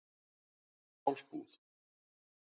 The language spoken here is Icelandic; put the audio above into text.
Njálsbúð